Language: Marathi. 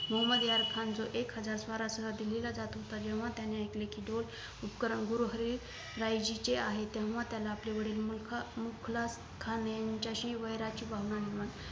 मोहम्मद यार खान जो एक हजार स्वारासहत दिल्लीला जात होता जेंव्हा त्याने ऐकले कि तो उपकरण गुरु हरी रायजीचे आहेत तेंव्हा त्याला आपले वडील मुखा मुखलात खान यांच्याशी वैराची भावना निर्माण झाली